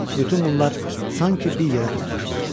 Bütün bunlar sanki bir yerə toplaşmışdı.